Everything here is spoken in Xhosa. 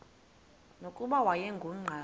nokuba wayengu nqal